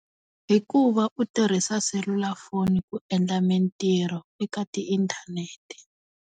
Hikuva u tirhisa selulafoni ku endla mintirho eka ti inthanete.